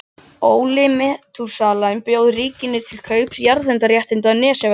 Óli Metúsalemsson bauð ríkinu til kaups jarðhitaréttindi á Nesjavöllum.